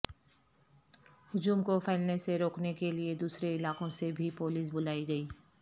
ہجوم کو پھیلنے سے روکنے کے لیے دوسرے علاقوں سے بھی پولیس بلائی گئی